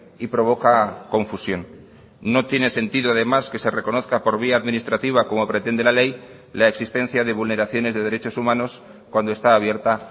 y provoca confusión no tiene sentido además que se reconozca por vía administrativa como pretende la ley la existencia de vulneraciones de derechos humanos cuando está abierta